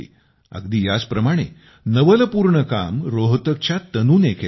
अगदी याचप्रमाणे नवलपूर्ण काम रोहतकच्या तनूने केलं आहे